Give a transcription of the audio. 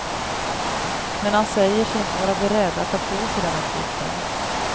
Men han säger sig inte vara beredd att ta på sig den uppgiften.